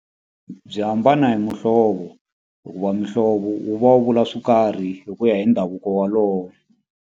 Byi hambana hi muhlovo hikuva muhlovo wu va wu vula swo karhi hi ku ya hi ndhavuko walowo.